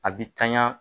A bi tanya